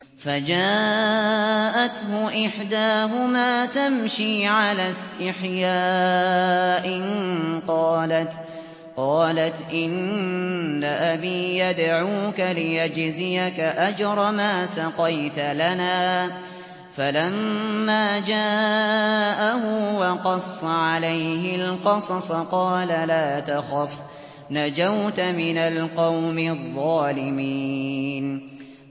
فَجَاءَتْهُ إِحْدَاهُمَا تَمْشِي عَلَى اسْتِحْيَاءٍ قَالَتْ إِنَّ أَبِي يَدْعُوكَ لِيَجْزِيَكَ أَجْرَ مَا سَقَيْتَ لَنَا ۚ فَلَمَّا جَاءَهُ وَقَصَّ عَلَيْهِ الْقَصَصَ قَالَ لَا تَخَفْ ۖ نَجَوْتَ مِنَ الْقَوْمِ الظَّالِمِينَ